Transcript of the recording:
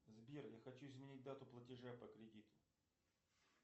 сбер я хочу изменить дату платежа по кредиту